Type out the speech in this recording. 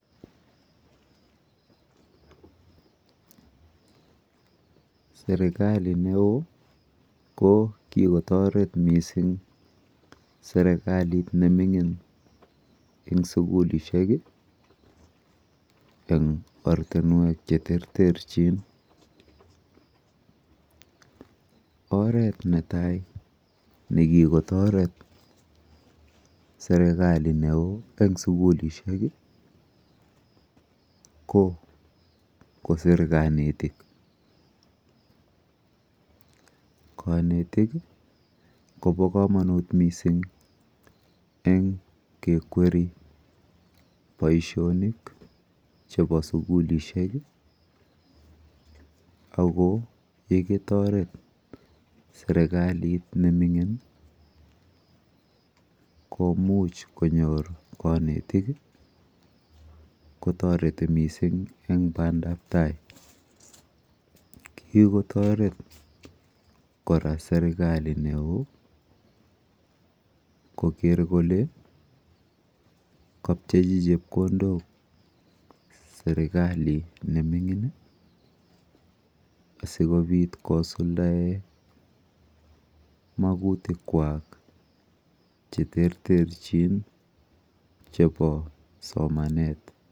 Serikali neoo ko kikotoret mising serikali nemining eng sukulishek eng ortinwek cheterterchin. Oret netai nekikotoret serikali neo eng sukulishek ko kosir kanetik. Kanetik kopo komonut mising eng kekweri boishonik chepo sukulishek ako yekitoret serikalit nemining komuch konyor kanetik kotoreti mising eng bandaptai. Kikotoret kora serikali neo koker kole kapchechi chepkondok serikali nemining asikobit kosuldae makutikwa cheterterchin chepo somanet.